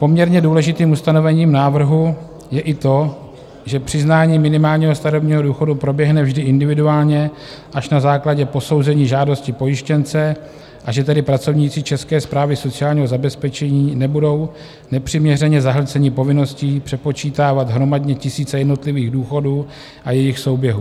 Poměrně důležitým ustanovením návrhu je i to, že přiznání minimálního starobního důchodu proběhne vždy individuálně až na základě posouzení žádosti pojištěnce, a že tedy pracovníci České správy sociálního zabezpečení nebudou nepřiměřeně zahlceni povinností přepočítávat hromadně tisíce jednotlivých důchodů a jejich souběhů.